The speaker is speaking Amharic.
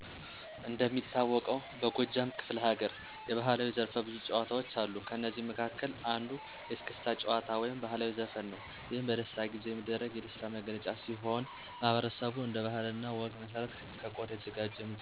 እንደሚታወቀውበጎጃም ክፈለሀገር የባህላዊ ዘርፈብዙ ጭዎታዎች አሉ ከእነዚህም መካከል አንዱ የእስክታ ጭዎታ ወይም ባህላዊ ዘፈን ነው ይህም በደስታ ጊዜ የሚደረግ የደስታ መገለጫ ሲሆን ማህበረሰቡ እንደ ባህለ እና ወግ መሰረት ከቆዳ የተዘጋጅ የሙዚቃ መሳርያ ከበሮ በመያዝ የተቀመጠው የደስታ ተካፋይ እያጨበጨበ ከበሮው እየተመታ ጭፈራው ይቀጥላል። ከእነዚህ መካከል እንቅጥቅጥ፣ እስጉልድም፣ አደግድግ፣ የመሳሰሉትን ሁሉም በየተራ ይጨፍራል።